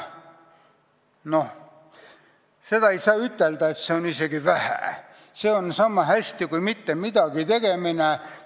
Ei saa ütelda, et sellest jääb väheks, see on niisama hästi kui mittemidagitegemine.